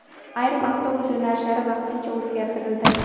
ayrim avtobus yo‘nalishlari vaqtincha o‘zgartirildi.